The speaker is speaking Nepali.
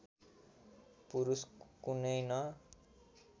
पुरुष कुनै न